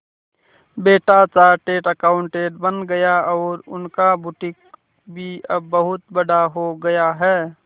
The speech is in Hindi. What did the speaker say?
बेटा चार्टेड अकाउंटेंट बन गया और उनका बुटीक भी अब बहुत बड़ा हो गया है